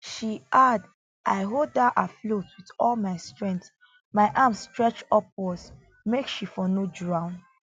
she add i hold her afloat wit all my strength my arms stretch upwards make she for no drown